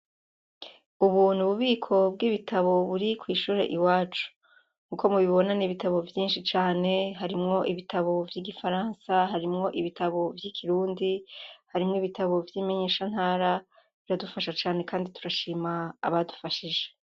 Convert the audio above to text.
Ubu n'ububiko bw'ibitabo buri kw'ishure iwacu. Nkuko mubibona n'ibitabo vyinshi cane, harimwo ibitabo vy'igifaransa, harimwo ibitabo vy'ikirundi, harimwo ibitabo vy'imenyesha ntara biradusha cane kandi turashima abadufashije.